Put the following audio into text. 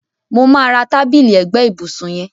Mo máa ra tábìlì ẹgbẹ́ ìbùsùn yẹn.